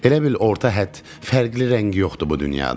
Elə bil orta hədd, fərqli rəng yoxdur bu dünyada.